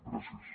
gràcies